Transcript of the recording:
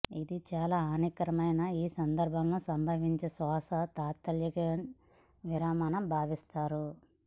ఇది చాలా హానికరమైన ఈ సందర్భంలో సంభవించే శ్వాస తాత్కాలిక విరమణ భావిస్తారు